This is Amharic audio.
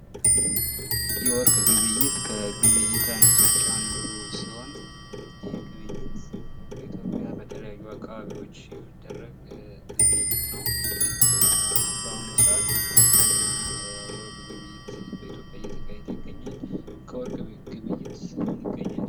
የወርቅ ግብይይት ከግብይይት አይነቶች አንዱ ሲሆን ይህ ግብይይት በኢትዮጵያ በተለያዩ አካባቢወች የሚደረግ ግብይይት ነው። በአሁኑ ሰአት ከፍተኛ የወርቅ ግብይይት በኢትዮጵያ እየተካሄደ ይገኛል። ከወርቅ ቤት ግብይይትስ ምን ይገኛል?